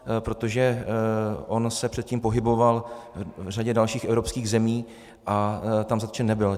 Protože on se předtím pohyboval v řadě dalších evropských zemí a tam zatčen nebyl.